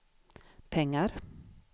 pengar